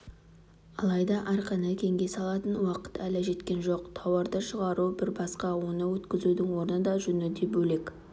алайда арқаны кеңге салатын уақыт әлі жеткен жоқ тауарды шығару бір басқа оны өткізудің орны да жөні де бөлек